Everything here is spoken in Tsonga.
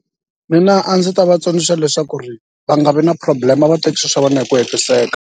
Mina a ndzi ta va tsundzuxa leswaku ri va nga vi na problem a va teki swilo swa vona hi ku hetiseka.